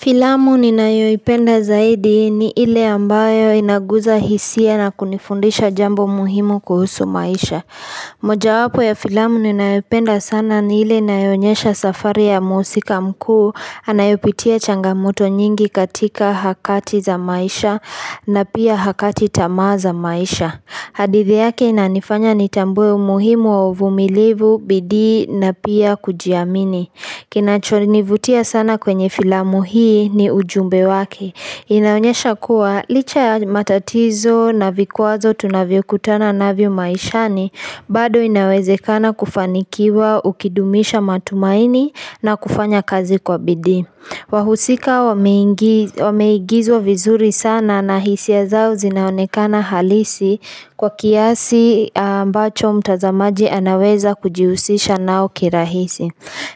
Filamu ninayoipenda zaidi ni ile ambayo inaguza hisia na kunifundisha jambo muhimu kuhusu maisha. Moja wapo ya filamu ninayoipenda sana ni ile inayochemka nyesha safari ya musika mkuu anayopitia changamoto nyingi katika hakati za maisha na pia hakati tama za maisha. Hadithi yake inanifanya nitambue umuhimu wa uvumilivu bidii na pia kujiamini. Kinachonivutia sana kwenye filamu hii ni ujumbe wake inaonyesha kuwa licha ya matatizo na vikwazo tunavyokutana navyo maishani, bado inawezekana kufanikiwa ukidumisha matumaini na kufanya kazi kwa bidii wahusika wameigizwa vizuri sana na hisia zao zinaonekana halisi Kwa kiasi ambacho mtazamaji anaweza kujihusisha nao kirahisi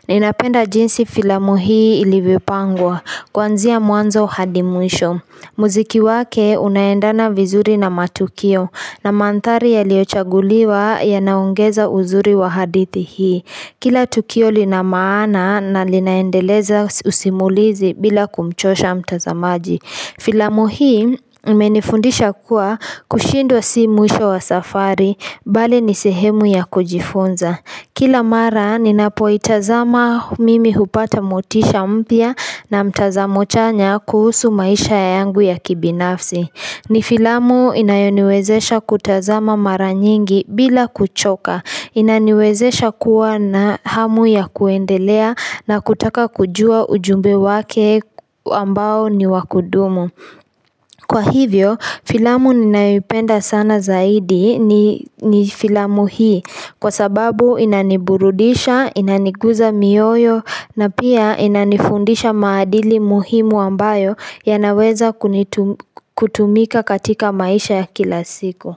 Ninapenda jinsi filamu hii ilivyopangwa, kuanzia mwanzo hadi mwisho. Muziki wake unaendana vizuri na matukio na mandhari yaliyochaguliwa yanaongeza uzuri wa hadithi hii. Kila tukio lina maana na linaendeleza usimulizi bila kumchosha mtazamaji. Filamu hii imenifundisha kuwa kushindwa si mwisho wa safari, bali ni sehemu ya kujifunza. Kila mara, ninapoitazama mimi hupata motisha mpya na mtazamo chanya kuhusu maisha ya yangu ya kibinafsi. Ni filamu inayoniwezesha kutazama mara nyingi bila kuchoka. Inaniwezesha kuwa na hamu ya kuendelea na kutaka kujua ujumbe wake ambao ni wa kudumu. Kwa hivyo, filamu ninayoipenda sana zaidi ni filamu hii kwa sababu inaniburudisha, inaniguza mioyo na pia inanifundisha maadili muhimu ambayo yanaweza kutumika katika maisha ya kila siku.